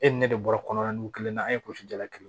E ni ne de bɔra kɔnɔ nugu kelen na an ye kɔlɔsi jala kelen